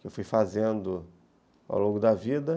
que eu fui fazendo ao longo da vida.